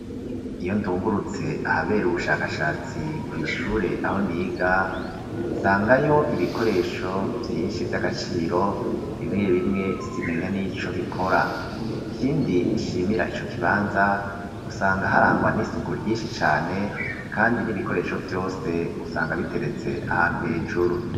Iyo ndungurutse ahabere ubushakashatsi kw'ishure aho niga nsangayo ibikoresho vyinshi vy'agaciro bimwe bimwe simenya n'ico bikora. Ikindi nshimira ico kibanza usanga harangwa n'isuku ryinshi cane kandi n'ibikoresho vyose usanga biteretse ahantu hejuru.